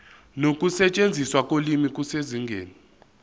nokusetshenziswa kolimi kusezingeni